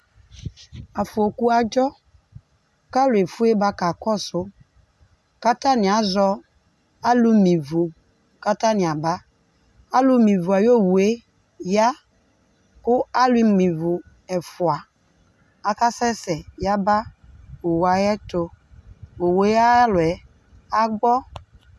ɑfɔku ɑṭsɔ kɑluɛfuɛ bɑkɑkɔṣu kɑtɑniazɔ ɑlumivu kɑtɑniɑbɑ ɑlumivu ɑyɔ owuɛyɑ ku ɑlumivo ɛfuɑ ɑkɑsɛsɛ yɑbɑ ɔwuɑyɛtɔ owuɛyɑluɛ agbɔ